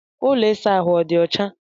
Ụlọ ịsa ahụ ọ dị ọcha?